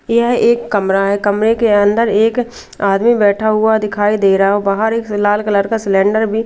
यह एक कमरा है कमरे के अंदर एक आदमी बैठा हुआ दिखाई दे रहा और बाहर एक लाल कलर का सिलेंडर भी--